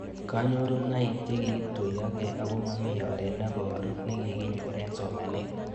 Kanyorunoik che kituyokei ako mami oret neparu nekikinyor eng' somanet